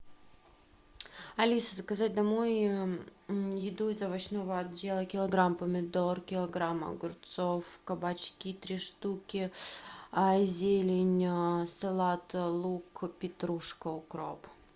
алиса заказать домой еду из овощного отдела килограмм помидор килограмм огурцов кабачки три штуки зелень салат лук петрушка укроп